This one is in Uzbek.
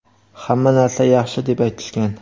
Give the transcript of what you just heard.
hamma narsa yaxshi deb aytishgan.